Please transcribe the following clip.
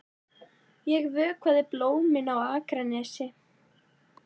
Ég vökvaði blómin á Akranesi.